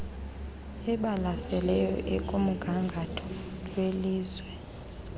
ebalaseleyo ekumgangatho welizwe